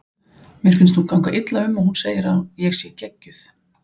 Mér finnst hún ganga illa um og hún segir að ég sé geggjuð.